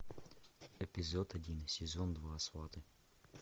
эпизод один сезон два сваты